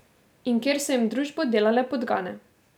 In kjer so jim družbo delale podgane.